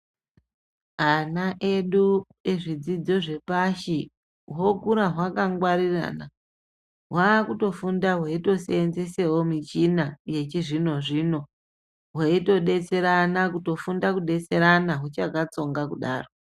Ana edu ezvidzidzo zveoashi hokura hwakangwarira hwakutiseenzesewo michina yechizvino zvino hweitodetserana kutofunda kudetserana huchakatsonga kudaro.